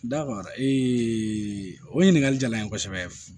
Dawa o ɲininkali jala n ye kosɛbɛ